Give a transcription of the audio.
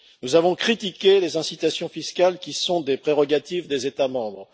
Nous avons critiqué les incitations fiscales, qui sont des prérogatives des États membres.